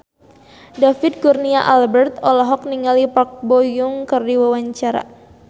David Kurnia Albert olohok ningali Park Bo Yung keur diwawancara